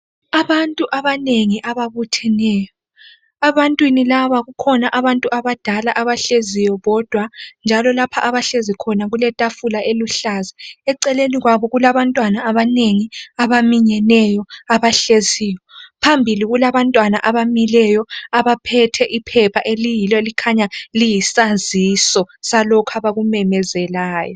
Abantu abanengi ababutheneyo, ebantwini laba kukhona abantu abadala abahleziyo bodwa, njalo lapha abahlezi khona kule thafula oluhlaza. Eceleni kwabo kula bantwana abanengi abaminyeneyo abahleziyo. Phambili kula bantwana abamileyo abaphethe iphepha eliyilo elikhanya liyisaziso salokhu abakumemezelayo.